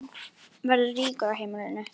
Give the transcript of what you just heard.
Verður rígur á heimilinu?